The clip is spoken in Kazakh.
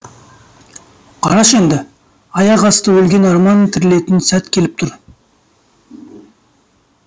қарашы енді аяқасты өлген арман тірілетін сәт келіп тұр